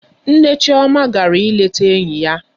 Nne Chioma gara ịleta enyi ya.